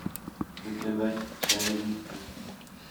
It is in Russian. заказать чай липтон